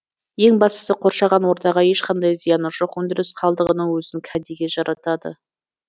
ең бастысы қоршаған ортаға ешқандай зияны жоқ өндіріс қалдығының өзін кәдеге жаратады